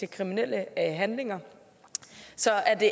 kriminelle handlinger så er det